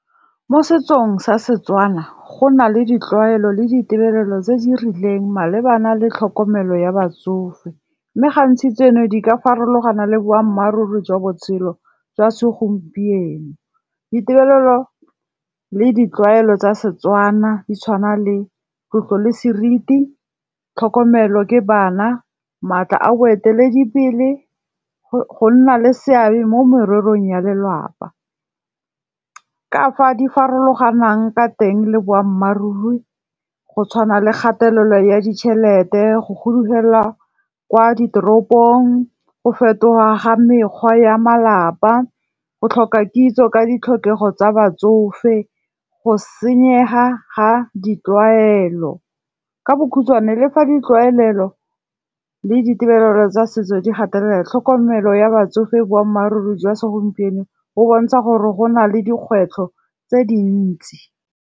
Mo setsong sa Setswana, go na le ditlwaelo le ditirelo tse di rileng malebana le tlhokomelo ya batsofe. Mme gantsi tseno di ka farologana le boammaaruri jwa botshelo jwa segompieno. Ditirelo le ditlwaelo tsa Setswana di tshwana le tlotlo le seriti, tlhokomelo ke bana, maatla a boeteledipele, go nna le seabe mo morerong ya lelapa. Ka fa di farologanang ka teng le boammaaruri, go tshwana le kgatelelo ya ditšhelete, go fudugela kwa ditoropong, go fetoga ga mekgwa ya malapa, go tlhoka kitso ka ditlhokego tsa batsofe, go senyega ga ditlwaelo. Ka bokhutswane le fa ditlwaelelo le ditebelelo tsa setso di gatelela tlhokomelo ya batsofe boammaaruri jwa segompieno bo bontsha gore go na le dikgwetlho tse dintsi.